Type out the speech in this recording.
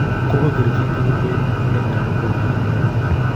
Kogoger chitugul koit olenyolu kwo gaa any wenger.